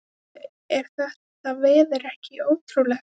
Heyrðu, er þetta veður ekki ótrúlegt?